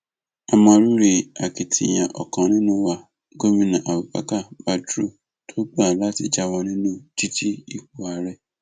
a mọ rírì akitiyan ọkan nínú wa gomina abubakar badru tó gbà láti jáwọ nínú dídú ipò ààrẹ